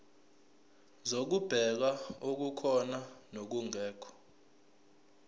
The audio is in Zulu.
zokubheka okukhona nokungekho